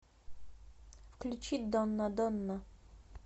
включи дона дона